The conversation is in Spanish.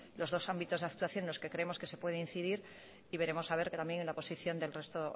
los dos ámbitos de actuación en los que creemos que se puede incidir y veremos también la posición del resto